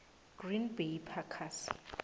green bay packers